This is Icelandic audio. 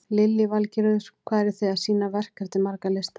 Lillý Valgerður: Hvað eru þið að sýna verk eftir marga listamenn?